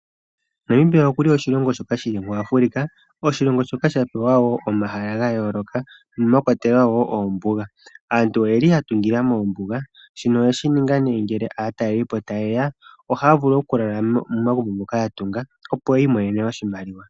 Namibia oshilongo shoka hashi adhika muAfrica, oshilongo shoka sha pewa omahala gayooloka mwa kwatelwa wo ombuga. Aantu oyeli ya tungila mombuga, shika osha ningwa opo ngele aatalelipo taye ya ohaya vulu okulala momagumbo moka ya tunga, yo yiimonene oshimaliwa.